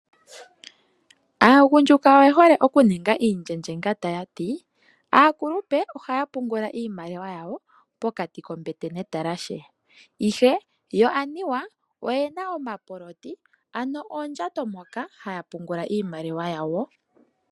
Aagundjuka oye hole okuninga iindjendjenga taya ti; Aakulupe ohaya pungula iimaliwa yawo pokati kombete netalashe, ihe yo aniwa oye na omapoloti, ano oondjato moka haya pungula iimaliwa yawo.